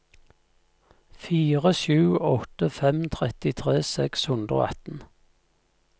fire sju åtte fem trettitre seks hundre og atten